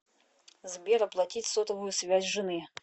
сбер оплатить сотовую связь жены